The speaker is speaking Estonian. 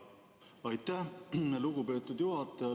Aitäh, lugupeetud juhataja!